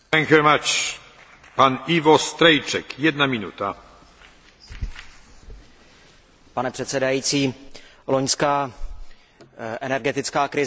Pane předsedající, loňská energetická krize byla nepříjemná, nicméně neukázala strukturální selhání trhu.